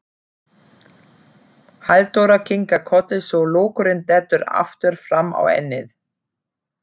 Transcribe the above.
Halldóra kinkar kolli svo lokkurinn dettur aftur fram á ennið.